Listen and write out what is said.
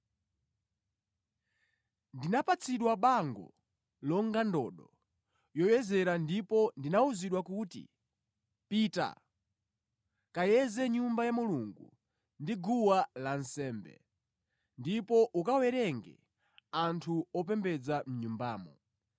Ndinapatsidwa bango longa ndodo yoyezera ndipo ndinawuzidwa kuti, “Pita, kayeze Nyumba ya Mulungu ndi guwa lansembe, ndipo ukawerenge anthu opembedza mʼNyumbamo.